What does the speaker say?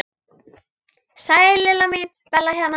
Sæl Lilla mín, Bella hérna.